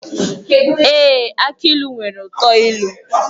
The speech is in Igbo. Èé! Aki ilu nwere uto ilu.